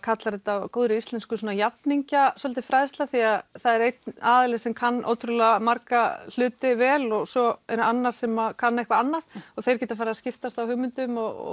kalla á góðri íslensku jafningjafræðsla því að það er einn aðili sem kann ótrúlega marga hluti vel og svo er annar sem kann eitthvað annað og þeir geta farið að skiptast á hugmyndum og